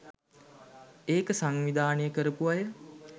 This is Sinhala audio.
ඒක සංවිධානය කරපු අය.